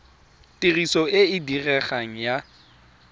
tiriso e e diregang ya